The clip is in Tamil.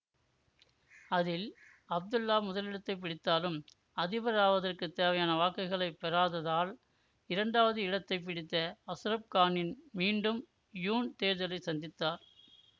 அதில் அப்துல்லா முதலிடத்தை பிடித்தாலும் அதிபர் ஆவதற்கு தேவையான வாக்குகளை பெறாததால் இரண்டாவது இடத்தை பிடித்த அசுர கானின் மீண்டும் யூன் தேர்தலை சந்தித்தார்